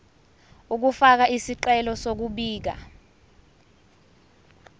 ukufaka isicelo sokubika